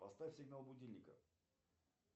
поставь сигнал будильника